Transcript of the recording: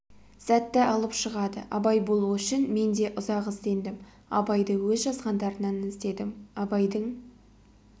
сәтті алып шығады абай болу үшін мен де ұзақ іздендім абайды өз жазғандарынан іздедім абайдың